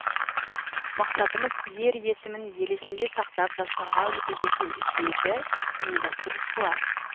мақсатымыз ер есімін ел есінде сақтап жастарға үлгі ету деді ұйымдастырушылар